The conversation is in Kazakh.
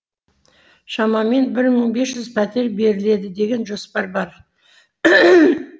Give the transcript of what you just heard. шамамен бір мың бес жүз пәтер беріледі деген жоспар бар